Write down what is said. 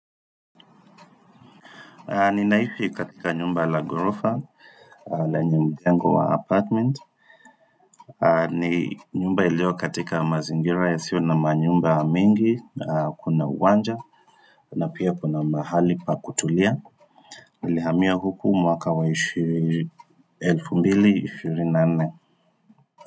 Ninaifi katika nyumba la ghorofa, lenye mjengo wa apartment, ni nyumba iliyo katika mazingira yasiyo na manyumba mengi, kuna uwanja, na pia kuna mahali pa kutulia, nilihamia huku mwaka wa 2024.